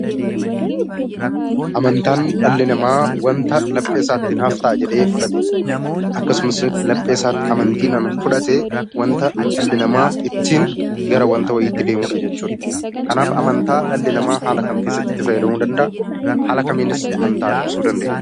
Amantaan wanta dhalli namaa laphee isaatti naaf ta'a jedhee fudhate akkasumas laphee isaatti amantii fudhatee wanta dhalli namaa ittiin gara wanta wayiitti deemudha jechuudha. Kanaaf amantaa dhalli namaa haala kam keessatti itti fayyadamuu danda'a? Haala kamiinis amantaa ibsuu dandeenya?